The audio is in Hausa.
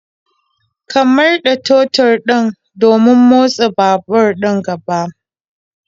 Ka murda totur din domin motsa babur din gaba